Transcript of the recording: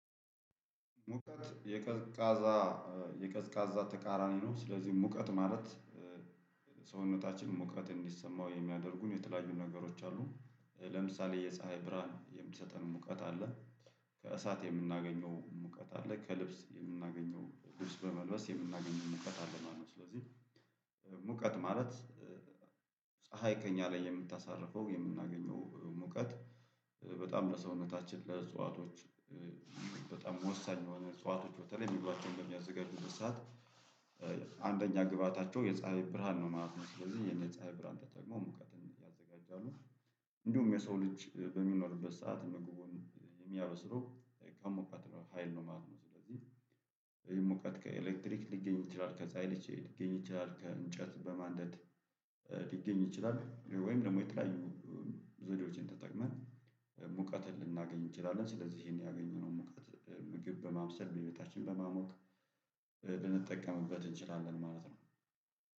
ሙቀት የቀዝቃዛ የቀዝቃዛ ተቃራኒ ነው። ስለዚህ ሙቀት ማለት ሰውነታችን ሙቀት እንዲሰማው የሚያደርጉን የተለያዩ ነገሮች አሉ። ለምሳሌ የፀሀይ ብርሃን የምትሰጠን ሙቀት አለ። ከእሳት የምናገኘው ሙቀት አለ ከልብስ የምናገኘው ልብስ በመልበስ የምናገኘው ሙቀት አለ ማለት ነው። ስለዚህ ሙቀት ማለት ፀሀይ ከእኛ ላይ የምታሳርፈው የምናገኘው ሙቀት። በጣም ለሰውነታችን ለእጽዋቶች በጣም ወሳኝ የሆነ እጽዋቶች በተለይ ምግባቸውን በሚያዘጋጁ በሰአት አንደኛ ግብአታቸው የፀሀይ ብርሃን ነው ማለት ነው። ስለዚህ ይህን የፅሃይ ብርሃን ተጠቅሞ ሙቀትን ያዘጋጃሉ። እንዲሁም የሰው ልጅ በሚኖርበት ሰዓት ምግቡን የሚያበስለው በሙቀት ሀይል ነው ማለት ነው። ስለዚህ ይሞቃት ከኤሌክትሪክ ሊገኙ ይችላል ከፀሀይ ልጅ ሊገኝ ይችላል ከእንጨት በማንደድ ሊገኝ ይችላል። ወይም ደግሞ የተለያዩ ዘዴዎችን ተጠቅመን ሙቀትን ልናገኝ እንችላለን። ስለዚህ ይሄን ያገኘነውን ሙቀት ምግብ በማብሰል ቤታችን በማሞቅ ልንጠቀምበት እንችላለን ማለት ነው።